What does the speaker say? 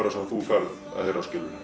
sem þú færð að heyra